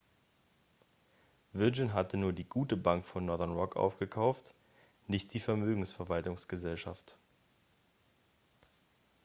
virgin hat nur die gute bank von northern rock aufgekauft nicht die vermögensverwaltungsgesellschaft